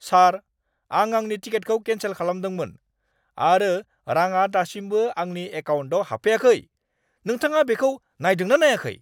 सार! आं आंनि टिकेटखौ केन्सेल खालामदोंमोन आरो रांआ दासिमबो आंनि एकाउन्टाव हाबफैयाखै। नोंथाङा बेखौ नायदों ना नायाखै?